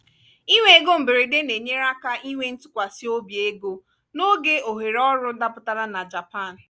ịnwe ego mberede na-enyere aka inwe ntụkwasị obi ego n’oge ohere ọrụ dapụtara na japan.